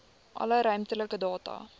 alle ruimtelike data